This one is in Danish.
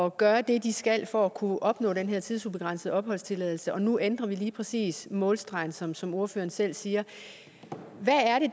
at gøre det de skal for at kunne opnå den her tidsubegrænsede opholdstilladelse og nu ændrer vi lige præcis målstregen som som ordføreren selv siger hvad